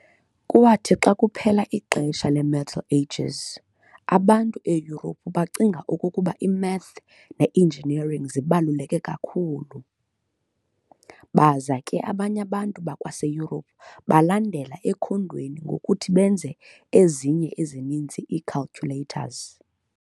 Kwathi xa kuphela ixesha le-Middle Ages, abantu eYurophu bacinga okokuba i-math ne-engineering zibaluleke kakhulu. Baza ke abanye abantu bakwaseyurophu balandela ekhondweni ngokuthi benze ezinye ezininzi ii-calculators.